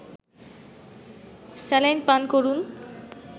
saline পান করুন